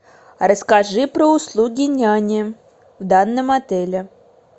расскажи про услуги няни в данном отеле